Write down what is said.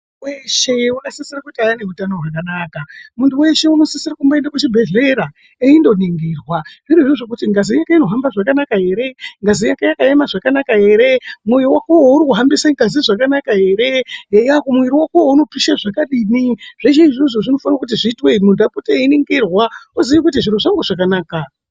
Muntu weshe wakasise kuti ave neutano hwakanaka muntu weshe anosisira kumboenda kuchibhedhlera eindoningirwa zviri zvozvekuti ngazi inohamba zvakanaka here ngazi yake yakaema zvakanaka here moyo wako wo uri kuhambisa ngazi zvakanaka here eya muviri wako uno pisha zvakadini zveshe izvozvo zvinofanira kuti zviitwe muntu apote eyiningirwa uzive kuti zviro zvangu zvakanaka.